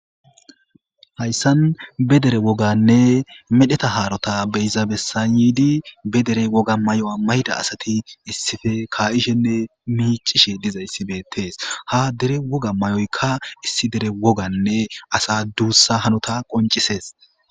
Hayisan be dere woganne medheta haro beyiza besan yidi be dere mayuwa mayida asati issippe ka'ishenne mic'ishe dizaysi bettes dere woga mayoyika issi dereasa dusa hanota qonc'ises.